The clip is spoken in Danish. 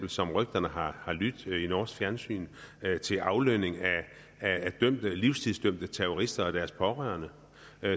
som rygterne har har lydt i norsk fjernsyn til aflønning af livstidsdømte terrorister og deres pårørende